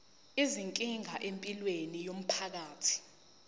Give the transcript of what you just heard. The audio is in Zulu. izinkinga empilweni yomphakathi